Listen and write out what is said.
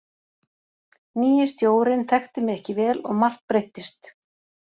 Nýi stjórinn þekkti mig ekki vel og margt breyttist.